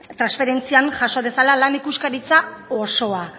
transferentzian jaso dezala lan ikuskaritza osoa